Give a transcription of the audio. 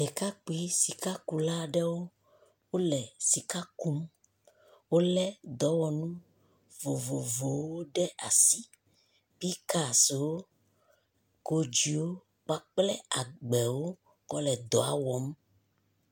Ɖekakpui sika ku la aɖewo, wo le sika kum. Wole dɔwɔnu vovovowo ɖe asi. Pik axewo, kodziwo kpakple agbewo kɔ le ɖɔa wɔm.